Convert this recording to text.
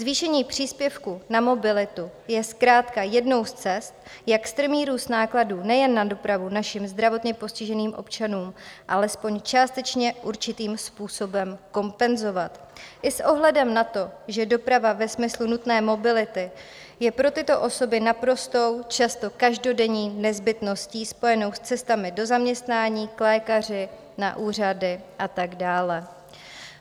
Zvýšení příspěvku na mobilitu je zkrátka jednou z cest, jak strmý růst nákladů nejen na dopravu našim zdravotně postiženým občanům alespoň částečně určitým způsobem kompenzovat i s ohledem na to, že doprava ve smyslu nutné mobility je pro tyto osoby naprostou, často každodenní nezbytností spojenou s cestami do zaměstnání, k lékaři, na úřady a tak dále.